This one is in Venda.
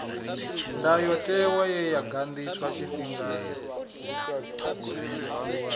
ndayotewa ye ya ganḓiswa tshifhingani